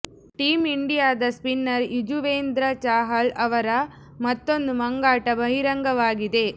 team ಇಂಡಿಯಾದ spinner Yuzvendra Chahal ಅವರ ಮತ್ತೊಂದು ಮಂಗಾಟ ಬಹಿರಂಗವಾಗಿದೆ